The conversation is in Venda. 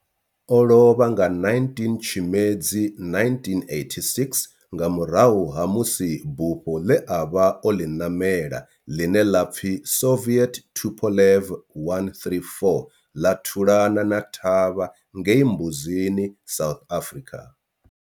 O lovha nga 19 Tshimedzi 1986 nga murahu ha musi bufho ḽe a vha o ḽi ṋamela, ḽine ḽa pfi Soviet Tupolev 134 ḽa thulana thavha ngei Mbuzini, South Africa.